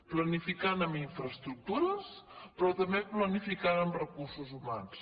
planificant en infraestructures però també planificant en recursos humans